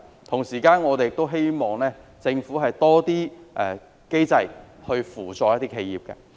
同時，我們亦希望政府設立更多機制來扶助企業。